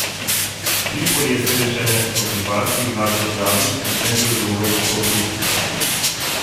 Tripoli je sedež ene od rivalskih vlad v državi, medtem ko je druga v Tobruku.